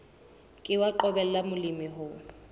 ke wa qobella molemi ho